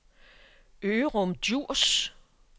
Ørum Djurs